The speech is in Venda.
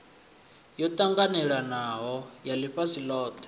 yo ṱanganelanaho ya ḽifhasi ḽothe